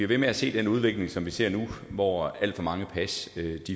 ved med at se den udvikling som vi ser nu hvor alt for mange pas